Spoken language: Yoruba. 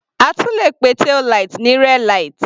A tún le pe taillight ní rear light.